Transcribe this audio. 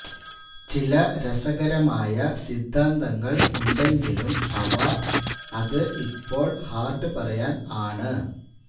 ചില രസകരമായ സിദ്ധാന്തങ്ങൾ ഉണ്ടെങ്കിലും അവ അത് ഇപ്പോൾ ഹാർഡ് പറയാൻ ആണ്